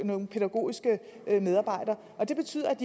nogle pædagogiske medarbejdere og det betyder at